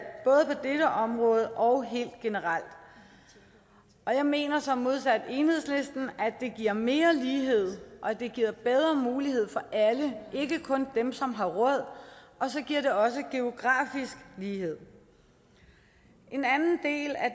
både på dette område og helt generelt og jeg mener modsat enhedslisten at det giver mere lighed og at det giver bedre mulighed for alle ikke kun dem som har råd og så giver det også geografisk lighed en anden del af